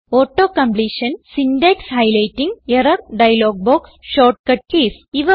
auto completion syntax highlighting error dialog box shortcut keys